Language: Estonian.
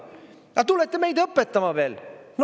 Aga tulete meid õpetama veel?